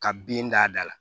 Ka bin d'a da la